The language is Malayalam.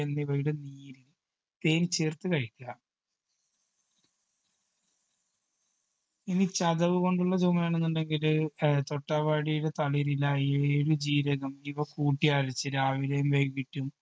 എന്നിവയുടെ നീര് തേൻ ചേർത്ത് കഴിക്കുക ഇനി ചതവ് കൊണ്ടുള്ള ചുമയാണെന്നുണ്ടെങ്കിൽ ഏർ തൊട്ടാവാടിയുടെ തളിരില ഏഴ് ജീരകം ഇവ കൂട്ടിയരച്ച് രാവിലെയും വൈകീട്ടും